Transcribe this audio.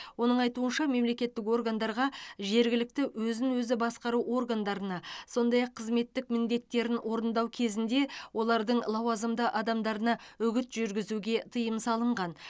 оның айтуынша мемлекеттік органдарға жергілікті өзін өзі басқару органдарына сондай ақ қызметтік міндеттерін орындау кезінде олардың лауазымды адамдарына үгіт жүргізуге тыйым салынған